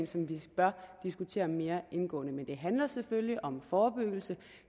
som vi bør diskutere mere indgående men det handler selvfølgelig om forebyggelse